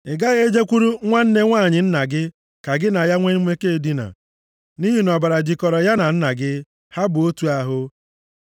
“ ‘Ị gaghị e jekwuru nwanne nwanyị nna gị ka gị na ya nwe mmekọ edina, nʼihi na ọbara jịkọrọ ya na nna gị, ha bụ otu ahụ.